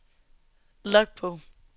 logbog